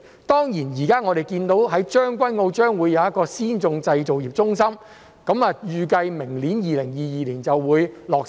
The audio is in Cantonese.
當然，現時看到將軍澳將會有一個先進製造業中心，預計明年落成。